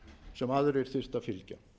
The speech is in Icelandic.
sem aðrir þyrftu að fylgja